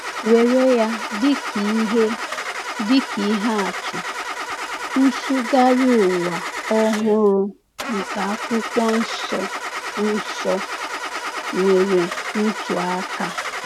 Were ya dịka ihe dịka ihe atụ, Nsụgharị Ụwa Ọhụrụ nke Akwụkwọ Nsọ Nsọ — nwere ntụaka.